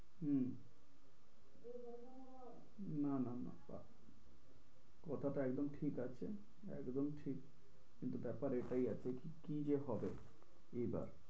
হম না না না কথাটা একদম ঠিক আছে একদম ঠিক কিন্তু ব্য়াপার এটাই আছে কী যে হবে এইবার।